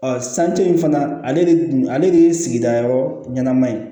sanji in fana ale de kun ale de ye sigida yɔrɔ ɲɛnama ye